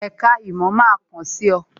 Èka ìmò máa kàn sí ọ